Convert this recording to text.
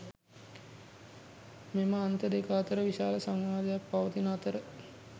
මෙම අන්ත දෙක අතර විශාල සංවාදයක් පවතින අතර